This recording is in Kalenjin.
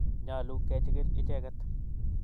Nyalu kechikil icheket